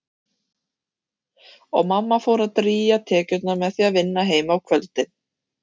Og mamma fór að drýgja tekjurnar með því að vinna heima á kvöldin.